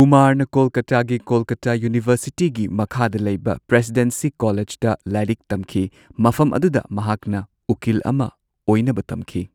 ꯀꯨꯃꯥꯔꯅ ꯀꯣꯜꯀꯇꯥꯒꯤ ꯀꯣꯜꯀꯇꯥ ꯌꯨꯅꯤꯚꯔꯁꯤꯇꯤꯒꯤ ꯃꯈꯥꯗ ꯂꯩꯕ ꯄ꯭ꯔꯦꯁꯤꯗꯦꯟꯁꯤ ꯀꯣꯂꯦꯖꯇ ꯂꯥꯏꯔꯤꯛ ꯇꯝꯈꯤ꯫ ꯃꯐꯝ ꯑꯗꯨꯗ ꯃꯍꯥꯛꯅ ꯎꯀꯤꯜ ꯑꯃ ꯑꯣꯏꯅꯕ ꯇꯝꯈꯤ꯫